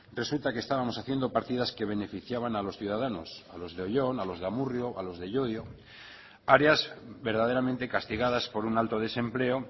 resulta que estábamos haciendo partidas que beneficiaban a los ciudadanos a los de oyón a los de amurrio a los de llodio áreas verdaderamente castigadas por un alto desempleo